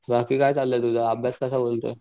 बाकी काय चाललंय तुझं अभ्यास कसा बोलतोय?